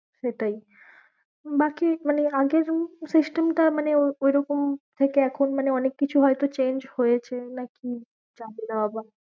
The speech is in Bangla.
সেটাই বাকি মানে আগের system টা মানে ওই রকম থেকে এখন মানে অনেক কিছু হয়তো change হয়েছে। নাকি জানি না বাবা